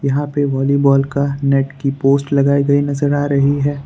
यहां पे वॉलीबॉल का नेट की पोस्ट लगाई गई नजर आ रही है।